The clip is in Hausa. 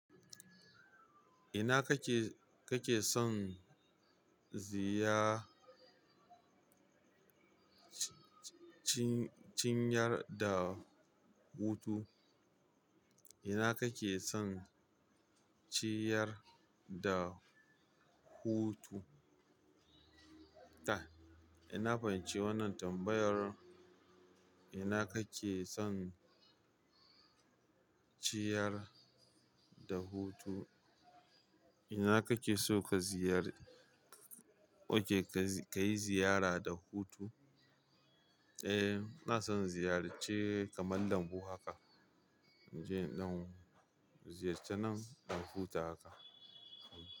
Ina kake, kake son ziyar cinyar da hutu? Ina kake son ciyar da hutu? Ta. Ina fahimci wannan tambayar. Ina kake son ciyar da hutu? Ina kake so ka ziyar-- oke ka yi ziyara da hutu? Eh, na san ziyarce kamar lambu haka. Je ɗan ziyarce nan, ɗan huta haka.